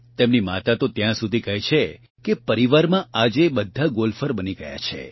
તેમની માતા તો ત્યાં સુધી કહે છે કે પરિવારમાં આજે બધા ગોલ્ફર બની ગયા છે